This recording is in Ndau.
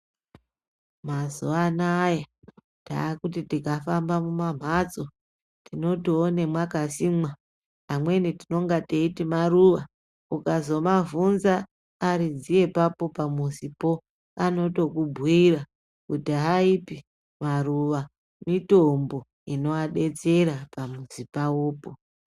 Mazuva anaya taakuti tikafamba mumamhatso tinotoone mwakasimwa, amweni tinenge teiti maruva. Ukazomavhunza aridzi epapo pamuzipo, anotokubhuira kuti haipi maruva, mitombo inoadetsera pamuzi pavopo.